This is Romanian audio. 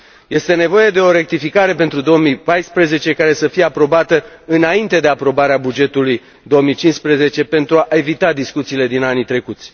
Este nevoie de o rectificare pentru 2014, care să fie aprobată înainte de aprobarea bugetului 2015, pentru a evita discuțiile din anii trecuți.